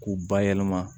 K'u bayɛlɛma